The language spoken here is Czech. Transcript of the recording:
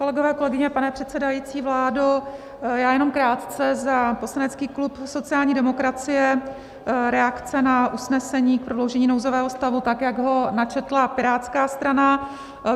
Kolegyně, kolegové, pane předsedající, vládo, já jenom krátce za poslanecký klub sociální demokracie - reakce na usnesení k prodloužení nouzového stavu, tak jak ho načetla Pirátská strana.